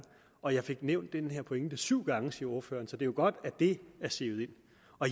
og jeg fik nævnt den pointe syv gange siger ordføreren så det er jo godt at det er sivet ind